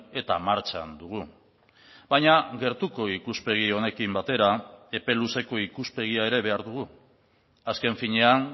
eta martxan dugu baina gertuko ikuspegi honekin batera epe luzeko ikuspegia ere behar dugu azken finean